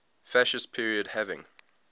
fascist period having